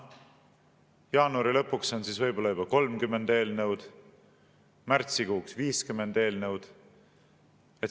Jaanuari lõpuks on võib-olla juba 30 eelnõu, märtsikuuks 50 eelnõu.